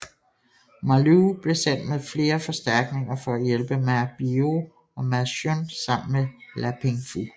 Ma Lu blev sendt med flere forstærkninger for at hjælpe Ma Biao og Ma Xun sammen med La Pingfu